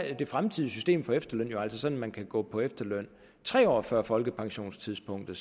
det fremtidige system for efterløn altså sådan at man kan gå på efterløn tre år før folkepensionstidspunktet